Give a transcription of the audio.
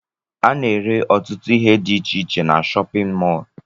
Ana ere ọtụtụ ihe dị iche iche n'shóppin mol.